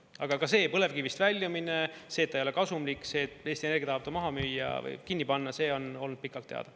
Aga ka see, põlevkivist väljumine, see, et ta ei ole kasumlik, see, et Eesti Energia tahab ta maha müüa või kinni panna, see on olnud pikalt teada.